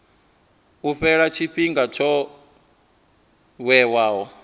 u fhela tshifhinga tsho vhewaho